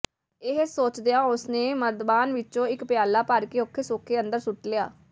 ਇਹ ਸੋਚਦਿਆਂ ਉਸਨੇ ਮਰਦਬਾਨ ਵਿੱਚੋਂ ਇੱਕ ਪਿਆਲਾ ਭਰ ਕੇ ਔਖੇ ਸੌਖੇ ਅੰਦਰ ਸੁੱਟ ਲਿਆ